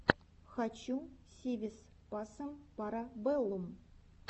хочу си вис пасем пара бэллум